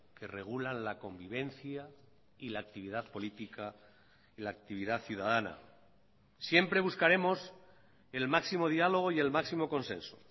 que regulan la convivencia y la actividad política y la actividad ciudadana siempre buscaremos el máximo dialogo y el máximo consenso